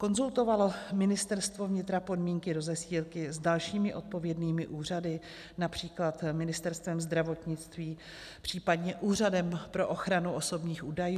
Konzultovalo Ministerstvo vnitra podmínky rozesílky s dalšími odpovědnými úřady, například Ministerstvem zdravotnictví, případě Úřadem pro ochranu osobních údajů?